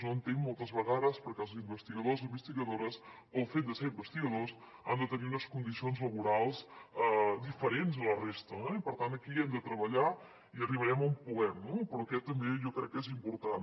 no entenc moltes vegades per què els investigadors i investigadores pel fet de ser investigadors han de tenir unes condicions laborals diferents a la resta eh i per tant aquí hi hem de treballar i arribarem on puguem no però això també jo crec que és important